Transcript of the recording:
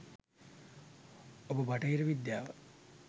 ඔබ බටහිර විද්‍යාව